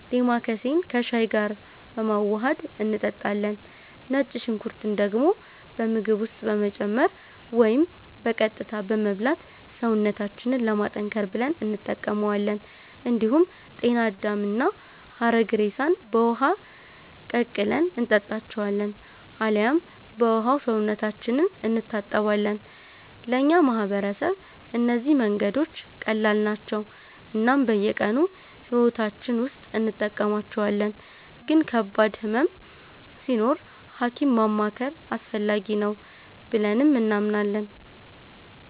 ዴማከሴን ከሻይ ጋር በማዋሀድ እንጠጣለን። ነጭ ሽንኩርትን ደግሞ በምግብ ውስጥ በመጨመር ወይም በቀጥታ በመብላት ሰውነታችንን ለማጠንከር ብለን እንጠቀማዋለን። እንዲሁም ጤና አዳምና ሐረግሬሳን በውሃ ቀቅለን እንጠጣቸዋለን አልያም በውሃው ሰውነታችንን እንታጠባለን። ለእኛ ማህበረሰብ እነዚህ መንገዶች ቀላል ናቸው እናም በየቀኑ ሕይወታችን ውስጥ እንጠቀማቸዋለን፤ ግን ከባድ ህመም ሲኖር ሀኪም ማማከር አስፈላጊ ነው ብለንም እናምናለን።